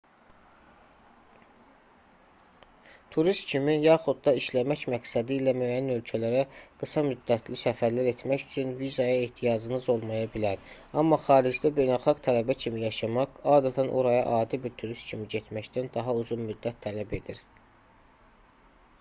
turist kimi yaxud da işləmək məqsədilə müəyyən ölkələrə qısa-müddətli səfərlər etmək üçün vizaya ehtiyacınız olmaya bilər amma xaricdə beynəlxalq tələbə kimi yaşamaq adətən oraya adi bir turist kimi getməkdən daha uzun-müddət tələb edir